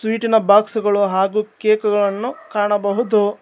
ಟಿನ box ಗಳು ಹಾಗು cake ಗಳನ್ನು ಕಾಣಬಹುದು.